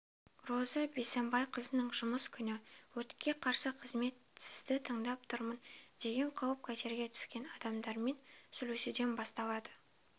розы бисенбайқызының жұмыс күні өртке қарсы қызмет сізді тыңдап тұрмын деген қауіп-қатерге түскен адамдармен сөйлесуден басталады